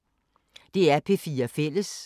DR P4 Fælles